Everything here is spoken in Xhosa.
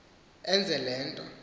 enze le nto